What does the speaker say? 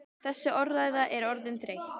Þessi orðræða er orðin þreytt!